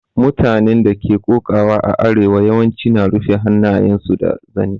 Mutanen da ke koƙawa a arewa yawanci na rufa hannayen su da zani.